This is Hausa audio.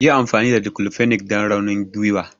Yi amfani da declofenac don raunin gwiwa!